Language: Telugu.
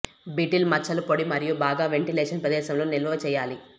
బీటిల్ మచ్చల పొడి మరియు బాగా వెంటిలేషన్ ప్రదేశంలో నిల్వ చేయాలి